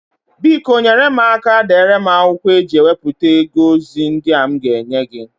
Biko nyèrè m aka deere m na akwụkwọ a eji ewepụta ego ozi ndị a m ga enye gị